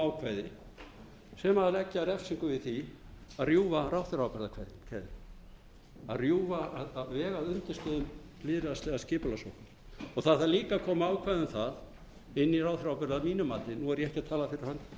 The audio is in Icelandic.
ákvæði sem leggja refsingu við því að rjúfa ráðherraábyrgðarkeðju að vega að undirstöðum lýðræðislegrar skipulagssóknar og það þarf líka að koma ákvæði um það inn í ráðherraábyrgð að mínu mati nú er ég ekki að